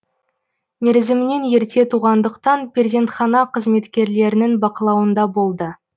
мерзімінен ерте туғандықтан перзентхана қызметкерлерінің бақылауында болды